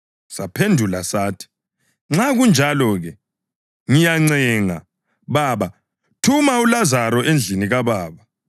Saphendula sathi, ‘Nxa kunjalo-ke, ngiyakuncenga, baba, thuma uLazaro endlini kababa,